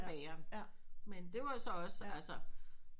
Bageren med det var så også altså